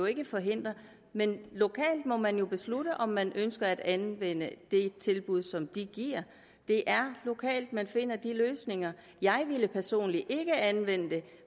ikke forhindre men lokalt må man jo beslutte om man ønsker at anvende det tilbud som de giver det er lokalt man finder de løsninger jeg ville personligt ikke anvende det